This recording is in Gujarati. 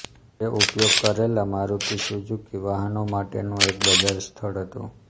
તે ઉપયોગ કરાયેલા મારુતિ સુઝુકી વાહનો માટેનું એક બજાર સ્થળ હતું